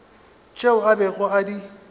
tšeo a bego a di